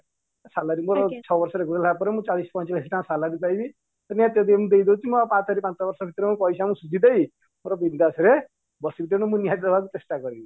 salary ମୋର ଛଅ ବର୍ଷ ହେଇଗଲା ପରେ ମୁଁ ଚାଳିଶ ରୁ ପଚାଶ ହଜାର ଟଙ୍କା salary ପାଇବି କୁ ଦେଇଦେଉଚି ପାଞ୍ଚ ୫ ବର୍ଷ ଭିତରେ ମୋ ପଇସା ମୁଁ ଶୁଝିଦେବି ପୁରା ବିନଦାସ ରେ ବସିବି ତେଣୁ ମୁଁ ନିହାତି ଦବାକୁ ଚେଷ୍ଟା କରିବି